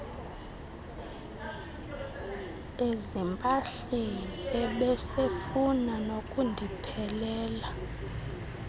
ezimpahleni ebesefuna nokundiphelela